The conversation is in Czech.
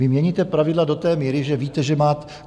Vy měníte pravidla do té míry, že víte, že máte...